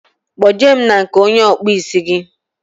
Kpo je mụ na nke onye okpu ísì gi